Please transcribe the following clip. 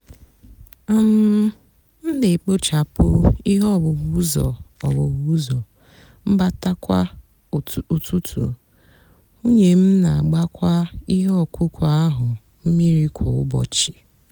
um m nà-èkpochapụ íhè owuwu úzọ owuwu úzọ mbata kwá útụtú nwúnyé m nà-àgbakwá íhè ọkụkụ áhụ mmírí kwá úbọchị.